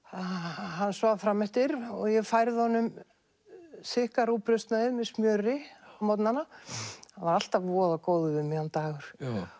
hann svaf fram eftir og ég færði honum þykka með smjöri á morgnanna hann var alltaf voða góður við mig hann Dagur